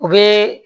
U bɛ